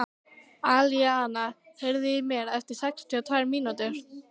Alíana, heyrðu í mér eftir sextíu og tvær mínútur.